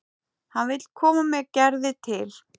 Hann vill koma með Gerði til